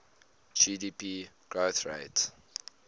gdp growth rates